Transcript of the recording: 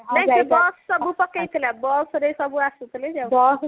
ନାଇଁ ସେ bus ସବୁ ପକେଇଥିଲା ବସ ରେ ସବୁ ଆସିଥିଲେ ଯାଉଥିଲେ